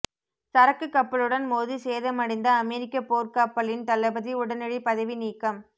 சரக்கு கப்பலுடன் மோதி சேதமடைந்த அமெரிக்க போர்க் கப்பலின்தளபதி உடனடி பதவி நீக்கம்